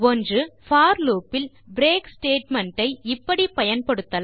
போர் loop இல் break statement ஐ இப்படி பயன்படுத்தலாம்